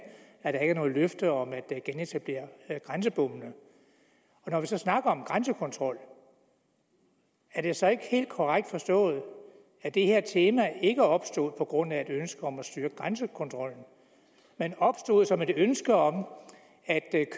at der ikke er noget løfte om at genetablere grænsebommene når vi så snakker om grænsekontrol er det så ikke helt korrekt forstået at det her tema ikke opstod på grund af et ønske om at styrke grænsekontrollen men opstod som et ønske om at